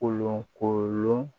Kolon kolon